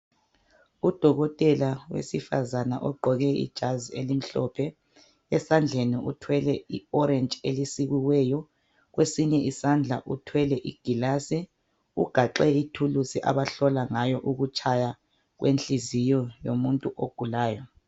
Udokotela wesifazane ogqoke ijazi elimhlophe. Esandleni uthwele i"orange" elisikiweyo. Kwesinye isandla uthwele igilasi. Ugaxe ithulusi abahlola ngayo kwenhliziyo yomuntu ogulayo.